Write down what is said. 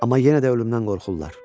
Amma yenə də ölümdən qorxurlar.